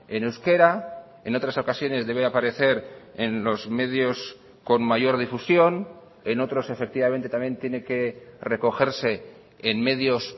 en euskera en otras ocasiones debe aparecer en los medios con mayor difusión en otros efectivamente también tiene que recogerse en medios